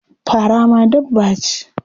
Fara ma dabba ce?